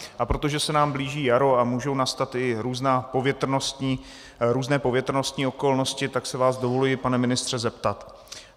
A protože se nám blíží jaro a můžou nastat i různé povětrnostní okolnosti, tak si vás dovoluji, pane ministře zeptat: